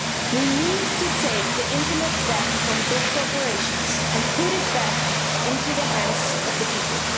We need to take the internet back from big corporations and put it back into the hands of the people.